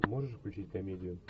можешь включить комедию